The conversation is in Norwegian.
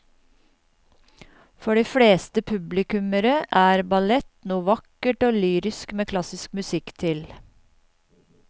For de fleste publikummere er ballett noe vakkert og lyrisk med klassisk musikk til.